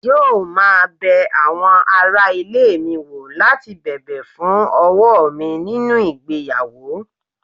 yóò máa bẹ àwọn ará ilé mi wò láti bẹ̀bẹ̀ fún ọwọ́ mi nínú ìgbéyàwó